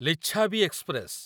Lichchhavi express